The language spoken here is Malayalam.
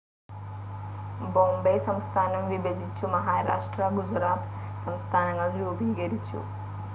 ബോംബൈ സംസ്ഥാനം വിഭജിച്ചു മഹാരാഷ്ട്ര ഗുജറാത്ത് സംസ്ഥാനങ്ങൾ രൂപീകരിച്ചു.